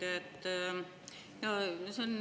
Hea ettekandja!